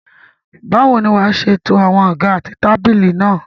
Báwo ni wàá ṣe to àwọn àga àti tábìlì náà?